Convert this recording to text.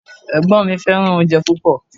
Ẹ̀gbọ́n mi Fẹ́ràn oúnjẹ púpọ̀